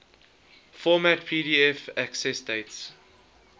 format pdf accessdate